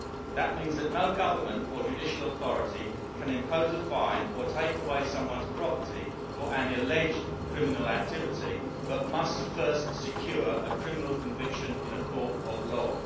That means that no government or judicial authority can impose a fine or take away someone's property for an alleged criminal activity, but must first secure a criminal conviction in a court of law.